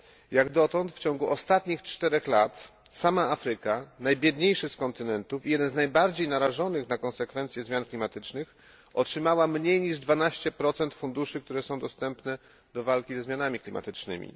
Jak dotąd w ciągu ostatnich czterech lat sama Afryka, najbiedniejszy z kontynentów i jeden z najbardziej narażonych na konsekwencje zmian klimatycznych, otrzymała mniej niż 12 funduszy, które są dostępne do walki ze zmianami klimatycznymi.